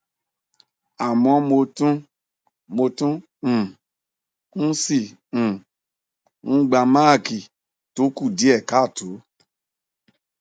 àmọ mo tún mo tún um ń si um n gba maaki to ku die kaato